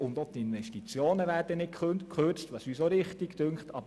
Auch die Investitionen werden nicht gekürzt, was wir richtig finden.